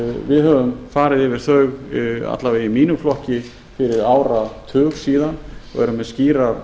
við höfum farið yfir þau alla vega í mínum flokki fyrir áratug síðan og erum með skýrar